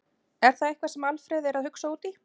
Er það eitthvað sem Alfreð er að hugsa út í?